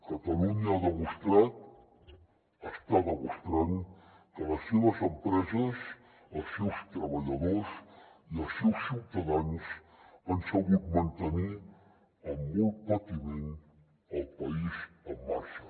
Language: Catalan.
catalunya ha demostrat està demostrant que les seves empreses els seus treballadors i els seus ciutadans han sabut mantenir amb molt patiment el país en marxa